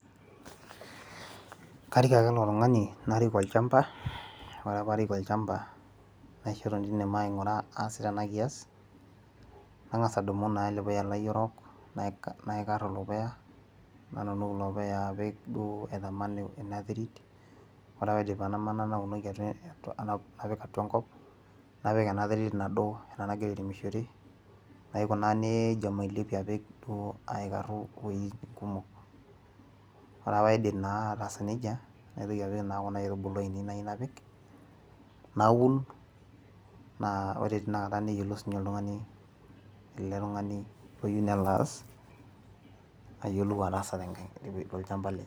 karik ake ilo tung'ani narik olchampa, ore pee arik olchampa naisho eton teine maing'ura aasita ena kias, nang'as adumu naa ele puya lai orok, naikarie ilo puya, nadumu ilo puya naitaman ina terit, ore pee aidip aitaman ,napik naunoki apik atua enkop, napik ena terit nado ena nagira airemishore, naikunaa nejia omailepie duo aikarie apik iwueitin kumok, ore pee aidip naa ataasa nejia, naitoki apik kuna aitubulu aainei nayieu napik, naun naa ore teina kata nedol sii ninye ele tung'ani ele tung'ani oyieu nelo aas, ayiolou atasa tolchampa lenye.